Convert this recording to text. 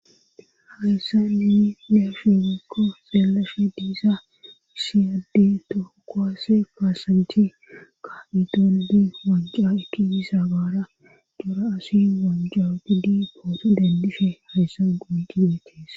hayssa ni nefhigekko xeellafe diisa shiyadde tokowase kaasanthi ka idondi wajja eki isa gaara dura asi wanja gidi poote dendishe hayssan gondiachees